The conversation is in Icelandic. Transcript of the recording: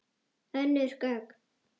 Önnur gögn.